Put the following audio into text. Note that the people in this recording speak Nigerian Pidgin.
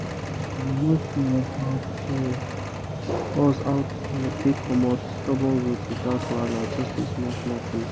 how to us how to take comot stubborn root without wahala small-small tools.